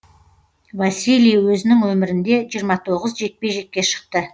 василий өзінің өмірінде жиырма тоғыз жекпе жекке шықты